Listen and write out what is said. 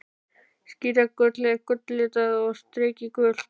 Skíragull er gulllitað og strikið gult.